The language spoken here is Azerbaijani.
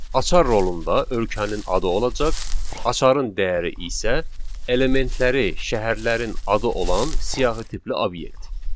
Açar rolunda ölkənin adı olacaq, açarın dəyəri isə elementləri şəhərlərin adı olan siyahı tipli obyekt.